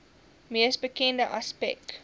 mees bekende aspek